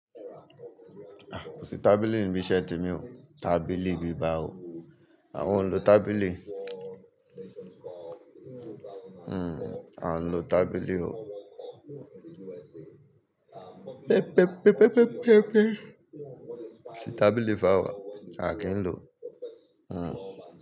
Ah! Kò sí tábìlì níbi iṣẹ́ mi o. Tábìlì bií báwo. Àwọn ń lo tábìlì. Hmm à ń lo tábìlì o. Pẹ, pẹ, pẹ, pẹ, pẹ, pẹ, pẹ. Tí tábìlì f'àwa, a kì n lo. Hmm.